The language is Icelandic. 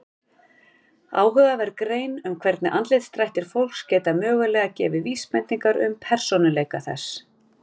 Áhugaverð grein um hvernig andlitsdrættir fólks geta mögulega gefið vísbendingar um persónuleika þess.